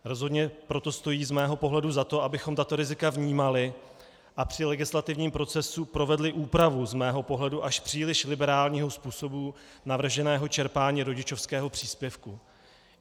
Rozhodně proto stojí z mého pohledu za to, abychom tato rizika vnímali a při legislativním procesu provedli úpravu z mého pohledu až příliš liberálního způsobu navrženého čerpání rodičovského příspěvku.